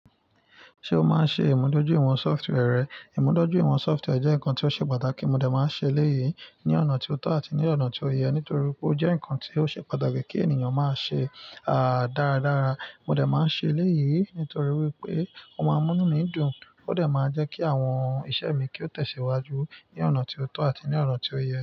Ṣé o máa ń ṣe ìmúdọ́júìwọ̀n sọftwẹ́ẹ̀rẹ́? Ìmúdọ́júìwọ̀n sọftwẹ́ẹ̀rẹ́ jẹ́ nǹkan tí ó ṣe pàtàkì, mo dà máa ń ṣe eléyìí ní ọ̀nà tí ó tọ́ àti ní ọ̀nà tí ó yẹ nítorí pé ó jẹ́ nǹkan tí ó ṣe pàtàkì kí ènìyàn máa ṣe, à, dáradára. Mo dà máa ń ṣe eléyìí nítorí wípé ó máa ń mú mí dùn, ó dà máa ń jẹ́ kí àwọn iṣẹ́ mi kí ó tẹ̀síwájú ní ọ̀nà tí ó tọ́ àti ní ọ̀nà tí ó yẹ.